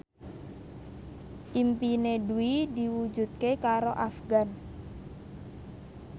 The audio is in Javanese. impine Dwi diwujudke karo Afgan